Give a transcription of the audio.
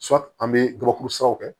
an bɛ gabakuru siraw kɛ